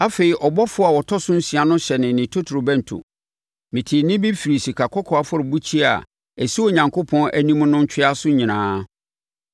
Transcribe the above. Afei ɔbɔfoɔ a ɔtɔ so nsia no hyɛnee ne totorobɛnto. Metee nne bi firii sikakɔkɔɔ afɔrebukyia a ɛsi Onyankopɔn anim no ntweaso nyinaa.